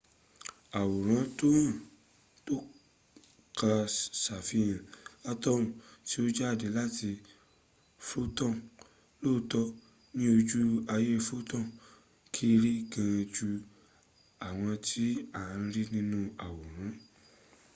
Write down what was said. àwòrán tókàn ṣàfihàn atoms tó ń jáde láti photons. lóòtọ́ ní ojú ayé photons kéré gan jú àwọn tí à ń rí nínu àwòrán